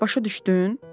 Başa düşdün?